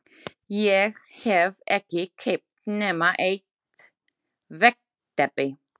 Ég hef ekki keypt nema eitt veggteppi